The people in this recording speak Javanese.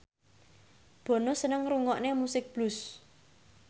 Bono seneng ngrungokne musik blues